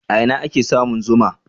A ina ake samun zuma?